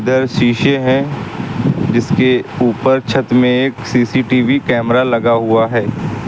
शीशे हैं जिसके ऊपर छत में एक सी_सी_टी_वी कैमरा लगा हुआ है।